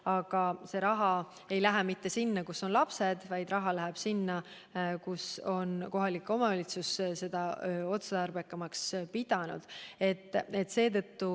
Aga see raha ei lähe mitte sinna, kus on lapsed, vaid sinna, kus kohalik omavalitsus on seda otstarbekamaks pidanud.